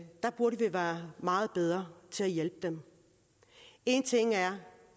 der burde vi være meget bedre til at hjælpe dem en ting er